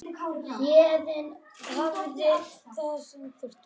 Héðinn hafði það sem þurfti.